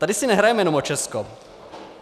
Tady si nehrajeme jenom o Česko.